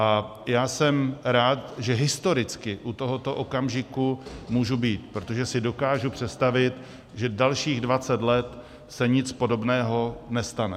A já jsem rád, že historicky u tohoto okamžiku můžu být, protože si dokážu představit, že dalších 20 let se nic podobného nestane.